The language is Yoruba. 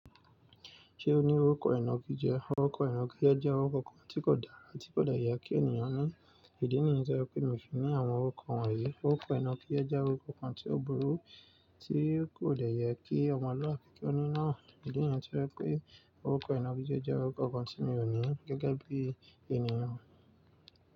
Ṣé o ní orúkọ ìnagijẹ? Orúkọ ìnagijẹ jẹ́ orúkọ kan tí kò dára, tí kò le yẹ kí ènìyàn ní. Ìdí nìyí to je pé mi fi ní àwọn orúkọ wọ̀nyí. Orúkọ ìnagijẹ jẹ́ orúkọ kan tí ó burú, tí kò de yẹ kí ọmọlúàbí kí ó ní náà. Ìdí nìyí tí o je pé orúkọ ìnagijẹ jẹ́ orúkọ kan tí mi ò ní gẹ́gẹ́ bí ènìyàn.